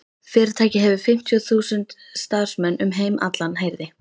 Fyrirtækið hefur fimmtíu þúsund starfsmenn um heim allan heyrði